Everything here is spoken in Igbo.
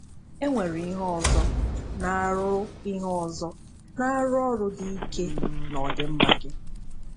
E nwere ihe ọzọ na-arụ ihe ọzọ na-arụ ọrụ dị ike n’ọdịmma gị.